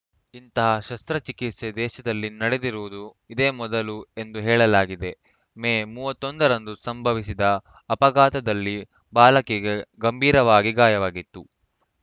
ಇಂತಹ ಶಸ್ತ್ರ ಚಿಕಿತ್ಸೆ ದೇಶದಲ್ಲಿ ನಡೆದಿರುವುದು ಇದೇ ಮೊದಲು ಎಂದು ಹೇಳಲಾಗಿದೆ ಮೇ ಮೂವತ್ತ್ ಒಂದು ರಂದು ಸಂಭವಿಸಿದ ಅಪಘಾತದಲ್ಲಿ ಬಾಲಕಿಗೆ ಗಂಭೀರವಾಗಿ ಗಾಯವಾಗಿತ್ತು